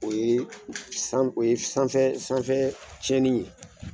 O ye san o ye sanfɛ sanfɛ tiɲɛnni ye.